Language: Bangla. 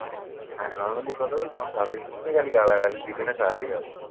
হ্যাঁ normally কথা বলছি। কিছু নেই। খালি গালাগালি দিবি না তাহলেই হবে।